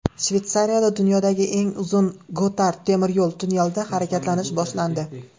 Shveysariyada dunyodagi eng uzun Gotard temiryo‘l tunnelida harakatlanish boshlandi.